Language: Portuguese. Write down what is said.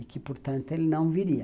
E que, portanto, ele não viria.